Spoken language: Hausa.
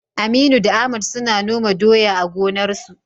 Aminu da Ahmad suna noma doya a gonarsu.